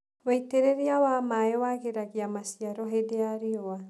Wĩitĩrĩria wa maĩ wagĩragia maciaro hingo ya riũa.